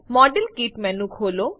model kit menu ખોલો